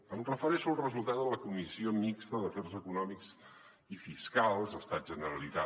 em refereixo al resul·tat de la comissió mixta d’afers econòmics i fiscals estat·generalitat